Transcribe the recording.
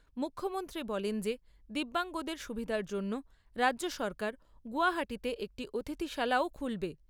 মুখ্যমন্ত্রী বলেন যে দিব্যাঙ্গদের সুবিধার জন্য রাজ্য সরকার গৌহাটীতে একটি অতিথিশালাও খুলবে।